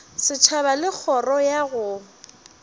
setšhaba le kgoro ya go